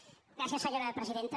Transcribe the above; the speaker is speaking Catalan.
gràcies senyora presidenta